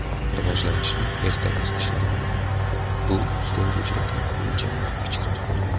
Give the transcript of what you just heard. Rivojlanishning erta bosqichlarida bu sutemizuvchilarning o‘lchamlari kichikroq bo‘lgan.